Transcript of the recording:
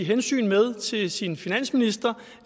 hensyn med til sin finansminister